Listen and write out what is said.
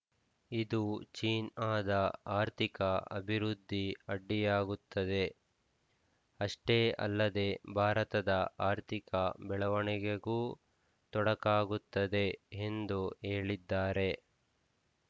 ಇದು ಚೀನಾದ ಆರ್ಥಿಕ ಅಭಿವೃದ್ಧಿ ಅಡ್ಡಿಯಾಗುತ್ತದೆ ಅಷ್ಟೇ ಅಲ್ಲದೆ ಭಾರತದ ಆರ್ಥಿಕ ಬೆಳವಣಿಗೆಗೂ ತೊಡಕಾಗುತ್ತದೆ ಎಂದು ಹೇಳಿದ್ದಾರೆ